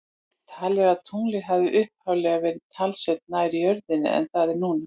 Talið er að tunglið hafi upphaflega verið talsvert nær jörðinni en það er núna.